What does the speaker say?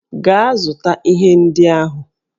Gaa zụta ihe ndị ahụ!